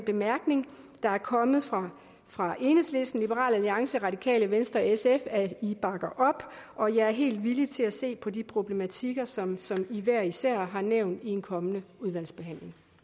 bemærkninger der er kommet fra fra enhedslisten liberal alliance radikale venstre og sf at i bakker op og jeg er helt villig til at se på de problematikker som i hver især har nævnt i en kommende udvalgsbehandling